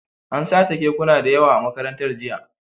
An sace kekuna da yawa a Makarantar, jiya